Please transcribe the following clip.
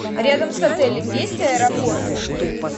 рядом с отелем есть аэропорты